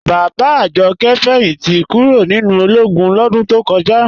Bàbá Àjọ̀kẹ̀ fẹ́yìntí kúró̀ nínu ọlógún lọdún tó kọja.